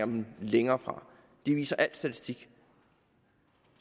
men længere fra det viser al statistik